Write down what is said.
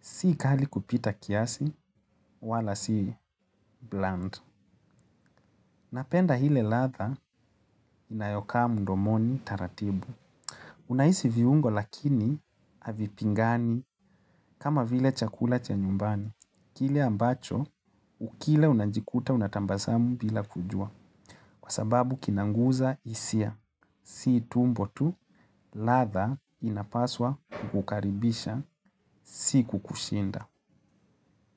Si kali kupita kiasi, wala si blunt. Napenda ile ladha inayokaa mdomoni taratibu. Unahisi viungo lakini havipingani kama vile chakula cha nyumbani. Kile ambacho, ukila unajikuta unatabasamu bila kujua. Kwa sababu kinaguza hisia. Si tumbo tu, ladha inapaswa kukukaribisha, si kukushinda.